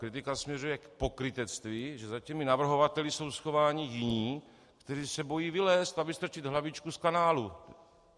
Kritika směřuje k pokrytectví, že za těmi navrhovateli jsou schováni jiní, kteří se bojí vylézt a vystrčit hlavičku z kanálu.